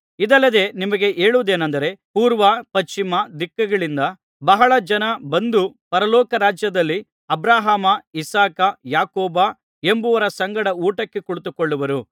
ಇದಲ್ಲದೆ ನಿಮಗೆ ಹೇಳುವುದೇನಂದರೆ ಪೂರ್ವ ಪಶ್ಚಿಮ ದಿಕ್ಕುಗಳಿಂದ ಬಹಳ ಜನ ಬಂದು ಪರಲೋಕ ರಾಜ್ಯದಲ್ಲಿ ಅಬ್ರಹಾಮ ಇಸಾಕ ಯಾಕೋಬ ಎಂಬುವವರ ಸಂಗಡ ಊಟಕ್ಕೆ ಕುಳಿತುಕೊಳ್ಳುವರು